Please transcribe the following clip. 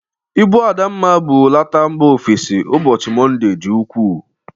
Ibụ Adamma bụrụ lọta mba ofesi n' ubochi Monde dịri ukwu.